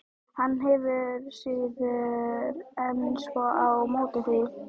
Hann hefur síður en svo á móti því.